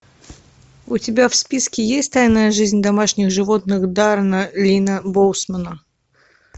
у тебя в списке есть тайная жизнь домашних животных даррена линна боусмана